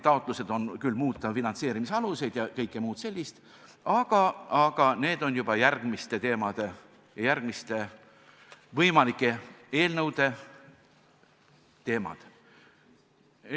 Taotlused on küll muuta finantseerimisaluseid ja kõike muud sellist, aga need on juba järgmiste võimalike eelnõude teemad.